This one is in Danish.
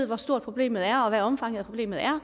hvor stort problemet er og hvad omfanget af problemet er og